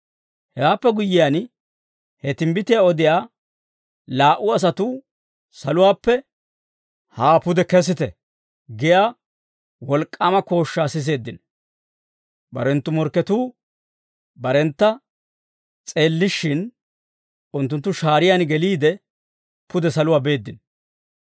Hewaappe guyyiyaan, he timbbitiyaa odiyaa laa"u asatuu saluwaappe, «Haa pude kesite» giyaa wolk'k'aama kooshshaa siseeddino. Barenttu morkketuu barentta s'eellishshin, unttunttu shaariyaan geliide, pude saluwaa beeddino.